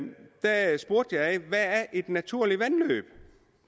et naturligt vandløb